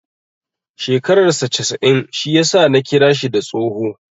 Shekarar saa casa'in shi ya sa Ni kira shi da tsoho.